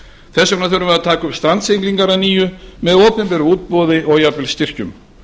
þess vega þurfum við að taka upp strandsiglingar að nýju með opinberu útboði og jafnvel styrkjum